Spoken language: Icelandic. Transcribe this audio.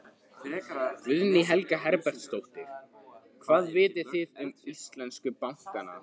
Guðný Helga Herbertsdóttir: Hvað vitið þið um íslensku bankana?